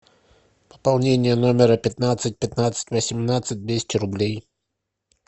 пополнение номера пятнадцать пятнадцать на семнадцать двести рублей